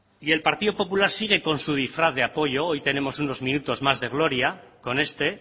y el partido popular sigue con su disfraz de apoyo hoy tenemos unos minutos más de gloria con este